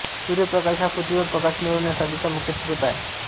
सूर्यप्रकाश हा पृथ्वीवर प्रकाश मिळवण्यासाठीचा मुख्य स्रोत आहे